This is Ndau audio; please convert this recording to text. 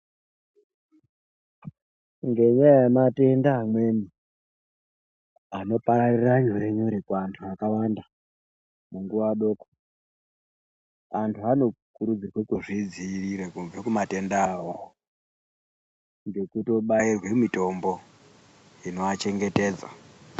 Ngenyaya yematenda amweni anopararira nyore nyore kuantu akawanda munguwa doko antu anokurudzirwa kuzvidziirira kubva kumatenda awawo ngekutobairwe mitombo inoachengetedza.